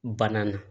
Banna na